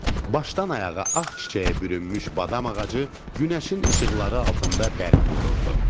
Başdan ayağa ağ çiçəyə bürünmüş badam ağacı günəşin işıqları altında bərq vururdu.